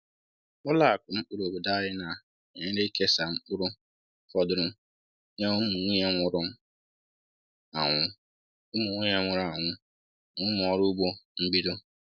Ụlọ akụ mkpụrụ obodo anyị na-enyere ịkesa mkpụrụ fọdụrụ nye ụmụnwunye nwụrụ anwụ ụmụnwunye nwụrụ anwụ na ụmụ ọrụ ugbo mbido.